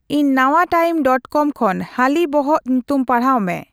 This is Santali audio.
ᱤᱧ ᱱᱟᱭᱴᱟᱭᱤᱢ ᱰᱚᱴ ᱠᱚᱢ ᱠᱷᱚᱱ ᱦᱟᱹᱞᱤ ᱵᱚᱦᱚᱜ ᱧᱩᱛᱩᱢ ᱯᱟᱲᱦᱟᱣ ᱢᱮ